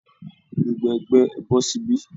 Gbogbo ẹgbẹ́, ẹ bọ́ síbí